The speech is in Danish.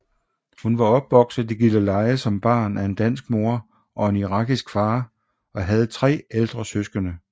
Hun var opvokset i Gilleleje som barn af en dansk mor og en irakisk far og havde tre ældre søskende